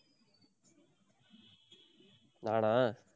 நானா